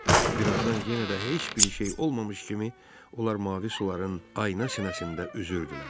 Birazdan yenə də heç bir şey olmamış kimi onlar mavi suların ayna sinəsində üzürdülər.